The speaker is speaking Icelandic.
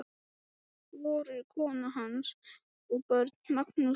Voru kona hans og börn, Magnús og